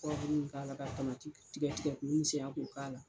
w k'a la, ka tamati tigɛ tigɛ k'u misɛya k'u k'a la